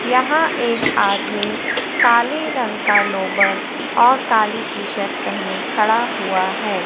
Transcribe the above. यहां एक आदमी काले रंग का लोवर और काली टी शर्ट पहने खड़ा हुआ है।